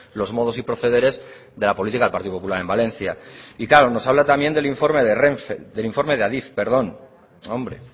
los modos y procederes de la política del partido popular en valencia y claro nos habla también del informe de renfe del informe de adif perdón hombre